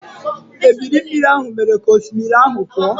Ebili mmiri mere ka osimiri ahụ pụọ.